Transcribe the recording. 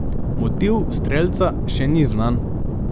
Motiv strelca še ni znan.